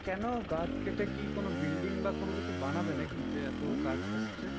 কেন? গাছ কেটে কি কোনো building বা কোনোকিছু বানাবে নাকি? যে এত গাছ কাটছে।